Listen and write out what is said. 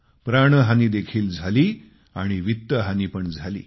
प्राणहानीदेखील झाली आणि वित्तहानी पण झाली